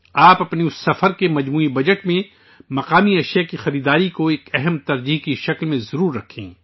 آپ اپنے اُس سفر کے کل بجٹ میں مقامی مصنوعات کی خرید کو ایک اہم ترجیحات کے طور پر ضرور رکھیں